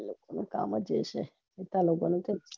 એનું કમજ એય છે પૈસા લેવાનું